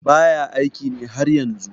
baya aiki ne har yanzu